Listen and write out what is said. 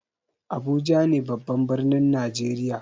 Abuja ne babban birnin najeriya.